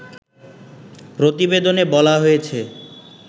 প্রতিবেদনে বলা হয়েছে